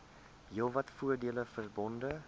heelwat voordele verbonde